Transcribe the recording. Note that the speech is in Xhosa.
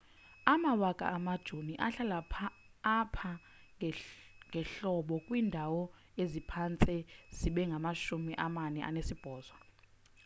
amawaka amajoni ahlala apha ngehlobo kwiindawo eziphantse zibe ngamashumi amane anesibhozo